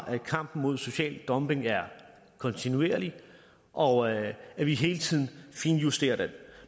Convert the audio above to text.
at kampen mod social dumping er kontinuerlig og at vi hele tiden finjusterer den